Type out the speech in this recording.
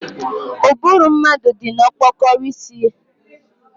Ụbụrụ mmadụ dị na okpokoro isi